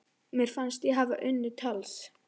Mér fannst ég hafa unnið tals